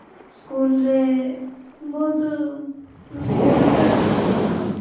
school ରେ ବହୁତ school ଟା